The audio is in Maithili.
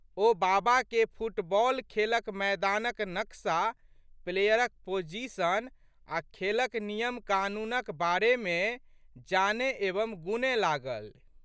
ओ बाबाके फुटबॉल खेलक मैदान क नक्शा, प्लेयरक पोजीशन आ' खेलक नियमकानूनक बारेमे जानए एवं गूनए लागलि।